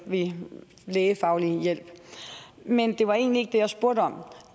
ved lægefaglig hjælp men det var egentlig ikke det jeg spurgte om